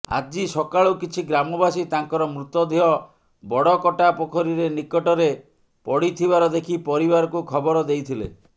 ଆଜି ସକାଳୁ କିଛି ଗ୍ରାମବାସୀ ତାଙ୍କର ମୃତଦେହ ବଡକଟା ପୋଖରୀରେ ନିକଟରେ ପଡିଥିବାର ଦେଖି ପରିବାରକୁ ଖବର ଦେଇଥିଲେ